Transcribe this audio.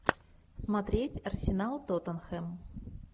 смотреть арсенал тоттенхэм